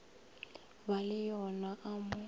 ba le yo a mo